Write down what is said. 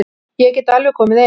Ég get alveg komið inn.